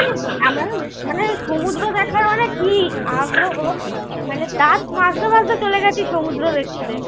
কি আগ্রহ মানে দাত মাজতে মাজতে চলে গেছি সমুদ্র দেখতে।